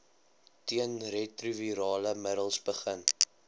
teenretrovirale middels begin